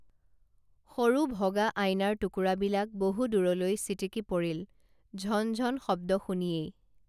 সৰু ভগা আইনাৰ টুকুৰা বিলাক বহুদূৰলৈ ছিটিকি পৰিল ঝন ঝন শব্দ শুনিয়েই